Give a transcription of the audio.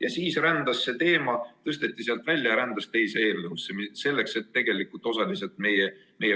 Aga siis tõsteti see teema sealt välja ja see rändas teise eelnõusse, osaliselt selleks, et tegelikult meie